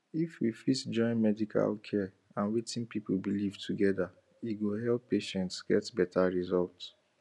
if we fit join medical care and wetin people believe together e go help patients get better result